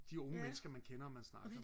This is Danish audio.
de unge mennesker og man snakker